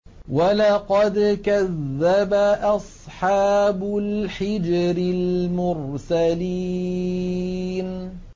وَلَقَدْ كَذَّبَ أَصْحَابُ الْحِجْرِ الْمُرْسَلِينَ